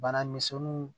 Bana misɛnninw